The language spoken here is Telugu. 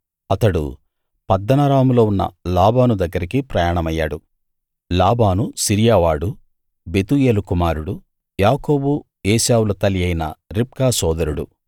అతడు పద్దనరాములో ఉన్న లాబాను దగ్గరకి ప్రయాణమయ్యాడు లాబాను సిరియావాడు బెతూయేలు కుమారుడూ యాకోబు ఏశావుల తల్లి అయిన రిబ్కా సోదరుడూ